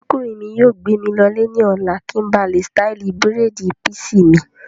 Ọ̀rẹ́kùnrin mi yóò gbé mi lọ lè ní ọ̀la kí n ba lè ṣtáìlì bírèèdì písì mi